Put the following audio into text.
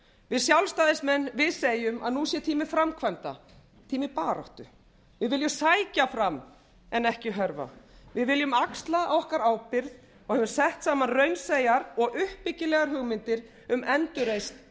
við sjálfstæðismenn segjum að nú sé tími framkvæmda tími baráttu við viljum sækja fram en ekki hörfa við viljum axla okkar ábyrgð og höfum sett saman raunsæjar og uppbyggilegar hugmyndir um endurreisn